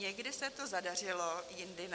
Někdy se to zadařilo, jindy ne.